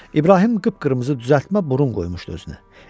İbrahim qıpqırmızı düzəltmə burun qoymuşdu özünə.